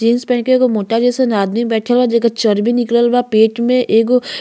jeans पहन के एगो मोटा जइसन आदमी बइठल बा जेकर चर्बी निकलल बा पेट में एगो --